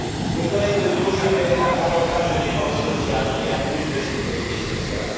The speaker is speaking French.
Mes collègues de gauche appellent à davantage de dépenses sociales et à plus de sécurité sociale.